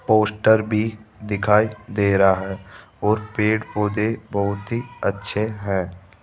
Poster भी दिखाई दे रहा है और पेड़ पौधे बहुत ही अच्छे हैं।